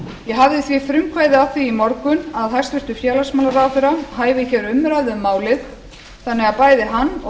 ég hafði því frumkvæði að því í morgun að hæstvirtur félagsmálaráðherra hæfi umræðu um málið þannig að bæði hann og